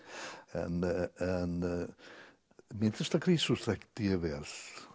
en myndlistarkrísur þekkti ég vel